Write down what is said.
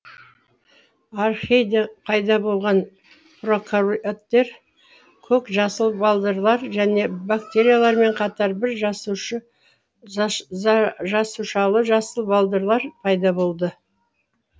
архейде пайда болған прокариоттар көк жасыл балдырлар және бактериялармен қатар бір жасушалы жасыл балдырлар пайда болды